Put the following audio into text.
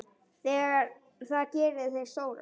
Það gerir þig stóran.